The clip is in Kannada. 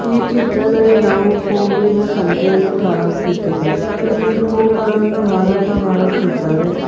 ಈ ಚಿತ್ರದಲ್ಲಿ ನಾವು ಹೂವಿನ ಸಂತೆಯನ್ನು ಕಾಣುತ್ತಿದ್ದೇವೆ ಇಲ್ಲಿ ಹೂಗಳನ್ನು ಮಾರಾಟ ಮಾಡುತ್ತಿದ್ದಾರೆ.